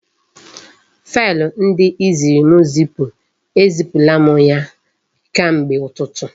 Faịlụ ndị ị ziri m zipu, e zipula m ya kemgbe ụtụtụ